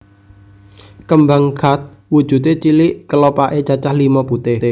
Kembang Khat wujude cilik kelopake cacah limo putih